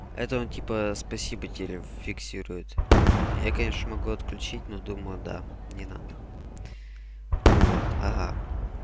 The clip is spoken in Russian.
это он типа спасибо тире фиксирует я конечно могу отключить но думаю да не надо вот ага